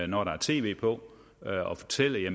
når der er tv på og fortælle at